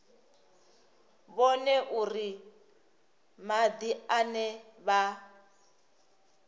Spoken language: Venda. vhone uri madi ane vha